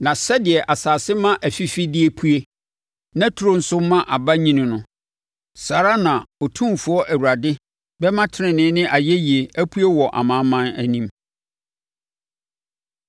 Na sɛdeɛ asase ma afifideɛ pue na turo nso ma aba nyini no, saa ara na Otumfoɔ Awurade bɛma tenenee ne ayɛyie apue wɔ amanaman anim.